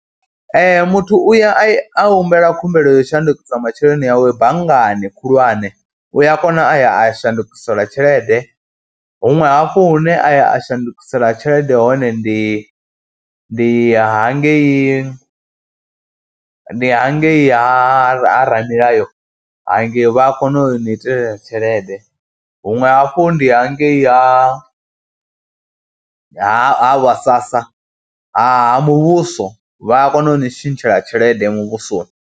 Ee muthu u ya a humbela khumbelo yo shandukisa masheleni awe banngani khulwane, u ya kona a ya a shandukiselwa tshelede. Huṅwe hafhu hune a ya a shandukisela tshelede hone ndi ndi hangei ndi hangei ha ramilayo, hangei vha a kona u ni itela tshelede. Huṅwe hafhu ndi hangei ha ha vhaSASA ha muvhuso vha a kona u ni tshintshela tshelede muvhusoni.